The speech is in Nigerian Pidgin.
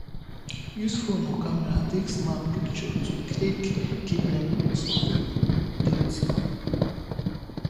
use phone or camera take snap picture to take keep memories of di date